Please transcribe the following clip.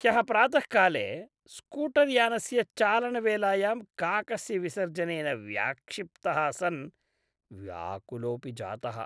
ह्यः प्रातःकाले स्कूटर्यानस्य चालनवेलायां काकस्य विसर्जनेन व्याक्षिप्तः सन् व्याकुलोपि जातः।